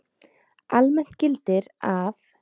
Almennt gildir að